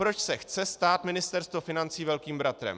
Proč se chce stát Ministerstvo financí Velkým bratrem?